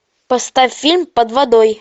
поставь фильм под водой